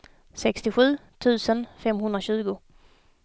sextiosju tusen femhundratjugo